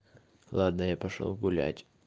ладно я пошёл гулять